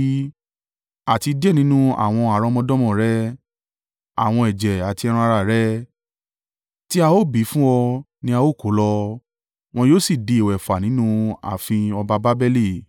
Àti díẹ̀ nínú àwọn àrọ́mọdọ́mọ rẹ, àwọn ẹ̀jẹ̀ àti ẹran-ara rẹ tí a ó bí fún ọ ni a ó kó lọ, wọn yóò sì di ìwẹ̀fà nínú ààfin ọba Babeli.”